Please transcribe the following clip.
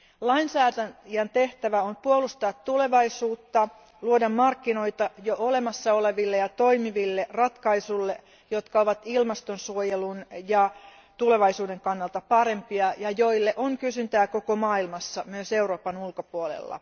Lainsäätäjän tehtävä on puolustaa tulevaisuutta, luoda markkinoita jo olemassa oleville ja toimiville ratkaisuille, jotka ovat ilmastonsuojelun ja tulevaisuuden kannalta parempia ja joille on kysyntää koko maailmassa, myös Euroopan ulkopuolella.